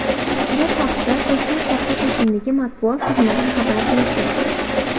Bu haqda Toshkent shahri hokimligi matbuot xizmati xabar berdi .